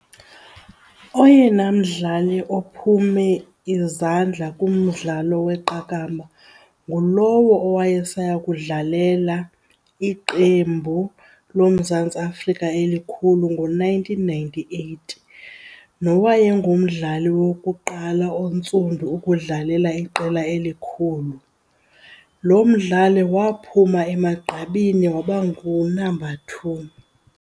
Oyena mdlali ophume izandla kumdlalo weqakamba ngulowo owayesaya ukudlalela iqembu loMzantsi Afrika elikhulu ngo-nineteen ninety-eight, nowayengumdlali wokuqala ontsundu ukudlalela iqela elikhulu. Lo mdlali waphuma emagqabini waba ngu-number two.